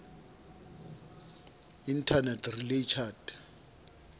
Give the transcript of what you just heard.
internet relay chat